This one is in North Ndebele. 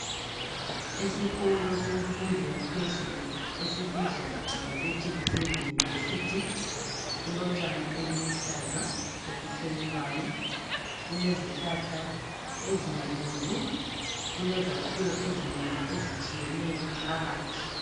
Esikolo semfundo yaphezulu esibizwa ngokuthi kuseyunivesithi, kulotshani obuluhlaza obuthelelwayo, kulezihlahla ezinkulu, lezakhiwo ezinengi ezitshiyeneyo phakathi.